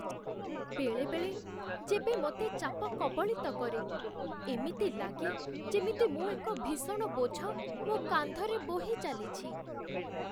ବେଳେବେଳେ, ଯେବେ ମୋତେ ଚାପ କବଳିତ କରେ, ଏମିତି ଲାଗେ ଯେମିତି ମୁଁ ଏକ ଭୀଷଣ ବୋଝ ମୋ କାନ୍ଧରେ ବୋହି ଚାଲିଛି।